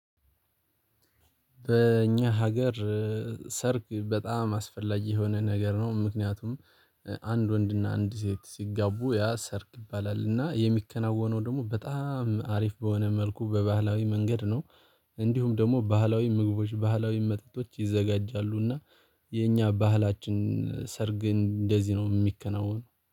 በእኛ ሀገር ሰርግ በጣም አስፈላጊ የሆነ ነገር ነው። ምክንያቱም አንድ ወንድና አንድ ሴት ሲጋቡ ያ ሰርግ ይባላል እና የሚከናወነው ደግሞ በጣም አሪፍ በሆነ መልኩ በባህላዊ መንገድ ነው። እንዲሁም ደግሞ ባህላዊ ምግቦች ባህላዊ መጠጦች ይዘጋጃሉና። የኛ ባህላችን ሰርግን እንደዚህ ነው የሚከናወነው